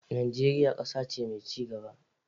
Najeriya kasa ce mai ci gaba.